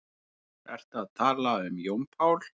Ertu að tala um Jón Pál?